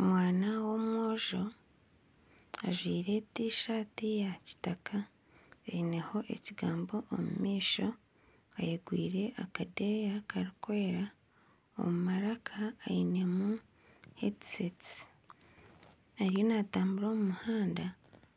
Omwana w'omwojo ajwaire tishati ya kitaka eineho ekigambo omu maisho ayegwire akadeeya karikwera omu maraka ainemu hedisetisi ariyo natambura omu muhanda